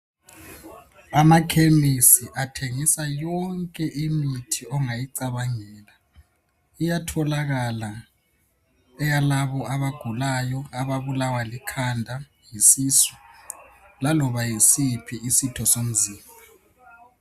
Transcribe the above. Amakhemisi athengisa yonke imithi ongayicabangela. Iyatholakala eyalabo abagulayo, ababulawa likhanda, yisisu. Laloba yisiphi isitho somzimba.